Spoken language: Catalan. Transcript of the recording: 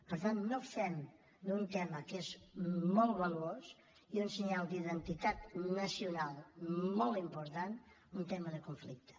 per tant no fem d’un tema que és molt valuós i un senyal d’identitat nacional molt important un tema de conflicte